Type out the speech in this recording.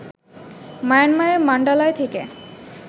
মায়ানমারের মান্ডালায় থেকে